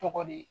Tɔgɔ di